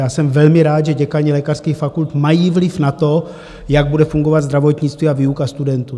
Já jsem velmi rád, že děkani lékařských fakult mají vliv na to, jak bude fungovat zdravotnictví a výuka studentů.